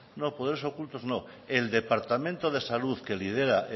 no poderes ocultos no el departamento de salud que lidera